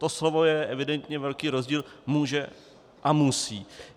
To slovo je evidentně velký rozdíl: může a musí.